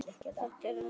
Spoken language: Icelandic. Þetta er hávær